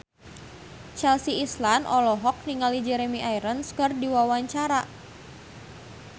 Chelsea Islan olohok ningali Jeremy Irons keur diwawancara